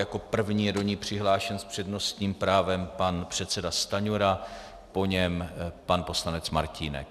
Jako první je do ní přihlášen s přednostním právem pan předseda Stanjura, po něm pan poslanec Martínek.